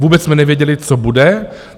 Vůbec jsme nevěděli, co bude.